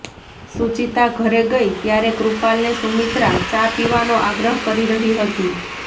સુચિતા ઘરે ગઈ ત્યારે કૃપાલને સુમિત્રા ચા પીવાનો આગ્રહ કરી રહી હતી